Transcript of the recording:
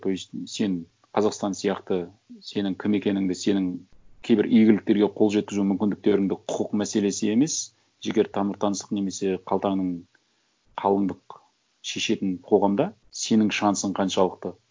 то есть сен қазақстан сияқты сенің кім екеніңді сенің кейбір игіліктерге қол жеткізу мүмкіндіктеріңді құқық мәселесі емес жігер тамыр таңсық немесе қалтаның қалыңдық шешетін қоғамда сенің шансың қаншалықты